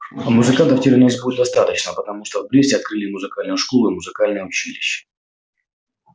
а музыкантов теперь у нас будет достаточно потому что в бресте открыли и музыкальную школу и музыкальное училище